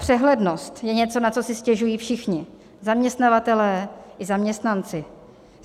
Přehlednost je něco, na co si stěžují všichni, zaměstnavatelé i zaměstnanci.